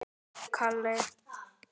Amma kenndi mér margt.